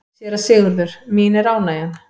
SÉRA SIGURÐUR: Mín er ánægjan.